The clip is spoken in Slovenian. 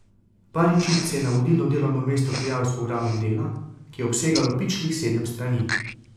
Baričič se je na vodilno delovno mesto prijavil s programom dela, ki je obsegalo pičlih sedem strani.